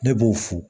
Ne b'o fo